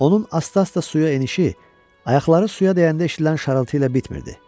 Onun asta-asta suya enişi ayaqları suya dəyəndə eşidilən şarıltı ilə bitmirdi.